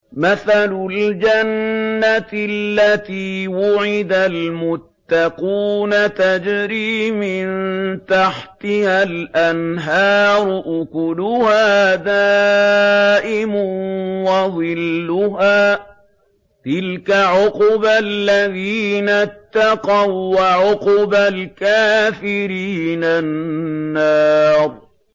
۞ مَّثَلُ الْجَنَّةِ الَّتِي وُعِدَ الْمُتَّقُونَ ۖ تَجْرِي مِن تَحْتِهَا الْأَنْهَارُ ۖ أُكُلُهَا دَائِمٌ وَظِلُّهَا ۚ تِلْكَ عُقْبَى الَّذِينَ اتَّقَوا ۖ وَّعُقْبَى الْكَافِرِينَ النَّارُ